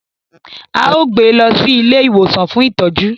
Ao gbé lọ sí ilé ìwòsan fún ìtọjú